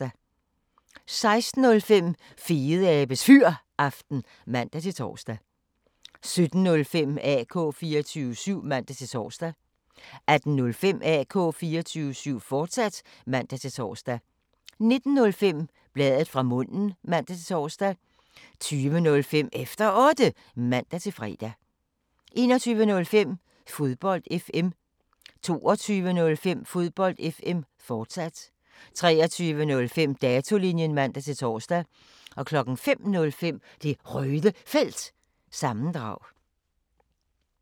16:05: Fedeabes Fyraften (man-tor) 17:05: AK 24syv (man-tor) 18:05: AK 24syv, fortsat (man-tor) 19:05: Bladet fra munden (man-tor) 20:05: Efter Otte (man-fre) 21:05: Fodbold FM 22:05: Fodbold FM, fortsat 23:05: Datolinjen (man-tor) 05:05: Det Røde Felt – sammendrag